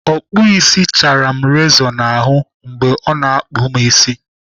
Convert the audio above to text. Ọkpụisi chaara m rezọ n'ahụ mgbe ọ na-akpụ m isi.